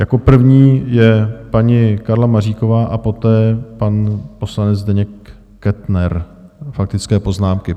Jako první je paní Karla Maříková a poté pan poslanec Zdeněk Kettner, faktické poznámky.